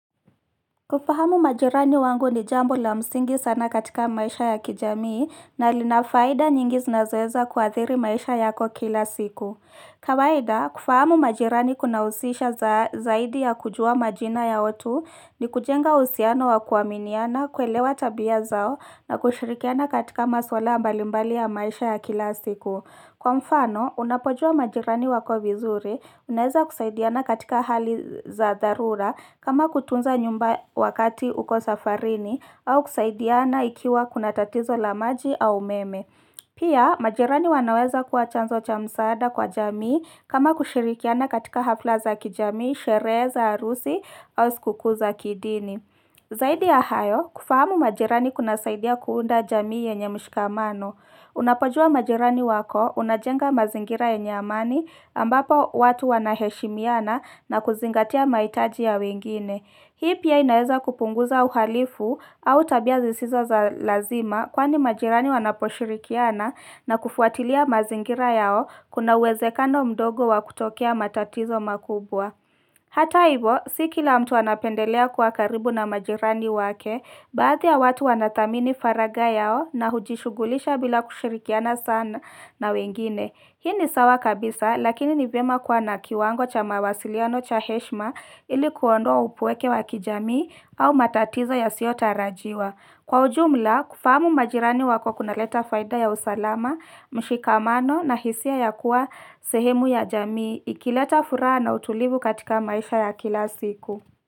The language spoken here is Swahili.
Kufahamu majirani wangu ni jambo la msingi sana katika maisha ya kijamii na linafaida nyingi zinazoweza kuathiri maisha yako kila siku. Kawaida, kufahamu majirani kuna usisha zaidi ya kujua majina ya watu ni kujenga uhusiano wa kuaminiana, kuelewa tabia zao na kushirikiana katika masuala mbali mbali ya maisha ya kila siku. Kwa mfano, unapojua majirani wako vizuri, unaeza kusaidiana katika hali za dharura kama kutunza nyumba wakati uko safarini au kusaidiana ikiwa kuna tatizo lamaji au umeme. Pia, majirani wanaweza kuwa chanzo cha msaada kwa jamii kama kushirikiana katika hafla za kijamii, sherehe za arusi au sikukuu za kidini. Zaidi ya hayo, kufahamu majirani kuna saidia kuunda jamii yenye mshikamano. Unapojua majirani wako, unajenga mazingira yenye amani ambapo watu wanaheshimiana na kuzingatia maitaji ya wengine. Hii pia inaeza kupunguza uhalifu au tabia zisizo za lazima kwani majirani wanaposhirikiana na kufuatilia mazingira yao kuna uwezekano mdogo wa kutokea matatizo makubwa. Hata hivo, siki la mtu anapendelea kuwa karibu na majirani wake, baadhi ya watu wanathamini faraga yao na hujishugulisha bila kushirikiana sana na wengine. Hii ni sawa kabisa, lakini nivyema kwa na kiwango cha mawasiliano cha heshma ilikuondoa upweke wakijamii au matatizo ya siota rajiwa. Kwa ujumla, kufahamu majirani wako kuna leta faida ya usalama, mshikamano na hisia ya kuwa sehemu ya jamii, ikileta furaha na utulivu katika maisha ya kila siku.